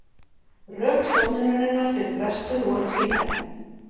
Rök stofnunarinnar fyrir frestun voru tvíþætt